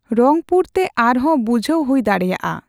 ᱨᱚᱝᱯᱩᱨ ᱛᱮ ᱟᱨᱦᱚᱸ ᱵᱩᱡᱦᱟᱹᱣ ᱦᱩᱭ ᱫᱟᱲᱮᱭᱟᱜᱼᱟ ᱺ